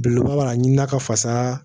Belebeleba b'a ɲini na ka fasa